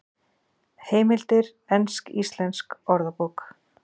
Heimildir Ensk-Íslensk Orðabók.